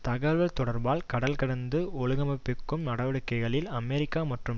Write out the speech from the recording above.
தகவல் தொடர்பால் கடல் கடந்து ஒழுங்கமைக்கும் நடவடிக்கைகளில் அமெரிக்கா மற்றும்